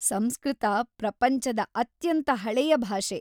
ಸಂಸ್ಕೃತ ಪ್ರಪಂಚದ ಅತ್ಯಂತ ಹಳೆಯ ಭಾಷೆ.